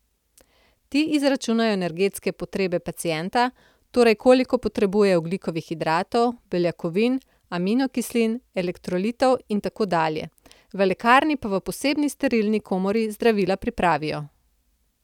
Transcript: Ti izračunajo energetske potrebe pacienta, torej koliko potrebuje ogljikovih hidratov, beljakovin, aminokislin, elektrolitov in tako dalje, v lekarni pa v posebni sterilni komori zdravila pripravijo.